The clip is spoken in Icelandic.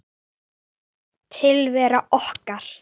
Tilvera okkar